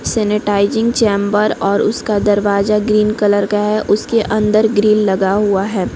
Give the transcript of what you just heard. Sanitising chamber और उसका दरवाजा ग्रीन कलर का है उसके अंदर ग्रील लगा हुआ हैं।